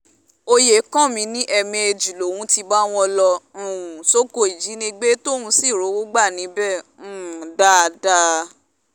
oyèkánmi ní ẹ̀ẹ̀mejì lòún ti bá wọn lọ um sóko ìjínigbé tóun sì rówó gbà níbẹ̀ um dáadáa